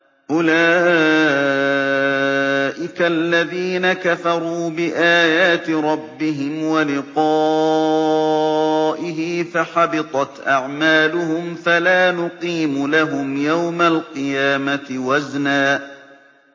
أُولَٰئِكَ الَّذِينَ كَفَرُوا بِآيَاتِ رَبِّهِمْ وَلِقَائِهِ فَحَبِطَتْ أَعْمَالُهُمْ فَلَا نُقِيمُ لَهُمْ يَوْمَ الْقِيَامَةِ وَزْنًا